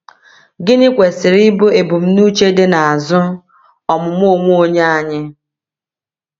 Gịnị kwesịrị ịbụ ebumnuche dị n’azụ ọmụmụ onwe onye anyị?